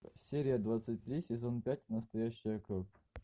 серия двадцать три сезон пять настоящая кровь